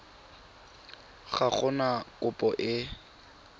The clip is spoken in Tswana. ga go na kopo e